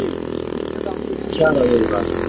Hægagangur í kjaraviðræðum